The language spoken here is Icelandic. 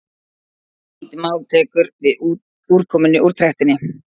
lítið mál tekur við úrkomunni úr trektinni